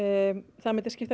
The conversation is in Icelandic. það myndi skipta